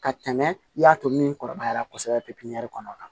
Ka tɛmɛ i y'a to min kɔrɔbaya la kosɛbɛ pepiɲɛri kɔnɔ